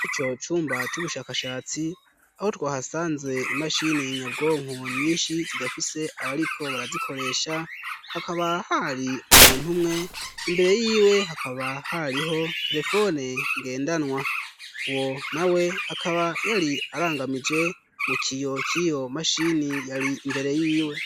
Ani co cumba c'ubushakashatsi aho twahasanze imashini y'nyabwonku nyinshi zidafise abariko barazikoresha hakaba hari umuntu umwe imbere yiwe hakaba hariho telefone ngendanwa wo na we akaba yari arangamije mu kiyo ki yo mashini iimbere yiwe.